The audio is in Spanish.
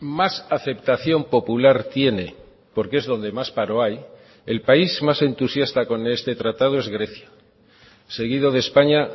más aceptación popular tiene porque es donde más paro hay el país más entusiasta con este tratado es grecia seguido de españa